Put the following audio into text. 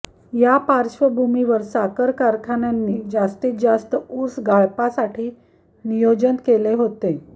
या पार्श्वभूमीवर साखर कारखान्यांनी जास्तीत जास्त ऊस गाळपासाठी नियोजन केले होते